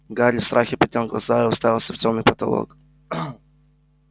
гарри в страхе поднял глаза и уставился в тёмный потолок